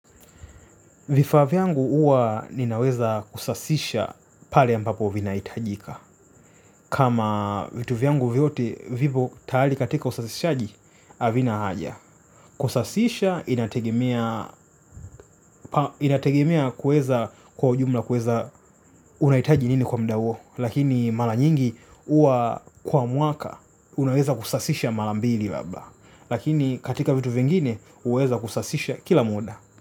Vifaa vyangu uwa ninaweza kusasisha pale ambapo vinahitajika. Kama vitu vyangu vyote vipo tayali katika usasishaji, havina haja. Kusasisha, inategemea kuweza kwa jumla kuweza unahitaji nini kwa mda huo. Lakini mala nyingi huwa kwa mwaka, unaweza kusasisha mala mbili labda. Lakini katika vitu vingine, huweza kusasisha kila muda.